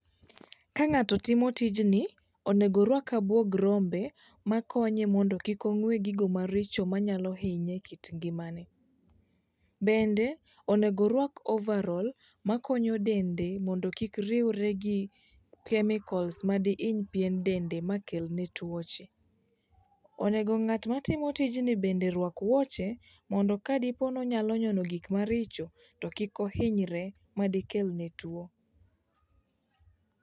Kang'ato timo tijni, onego orwak abuog rombe makonye mondo kik ong'we gigo maricho manyalo hinye e kit ngimane. Bende onego orwak ovarol makonyo dende mondo kik riwre gi kemikols madihiny pien dende makelne tuoche. Onego ng'at matimo tijni bende rwak wuoche mondo kadipo nonyalo nyono gikmaricho to kik ohinyre madikelne tuo.